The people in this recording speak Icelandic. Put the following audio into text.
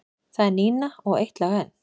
Það er Nína og Eitt lag enn.